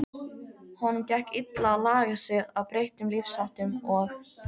Honum gekk illa að laga sig að breyttum lífsháttum og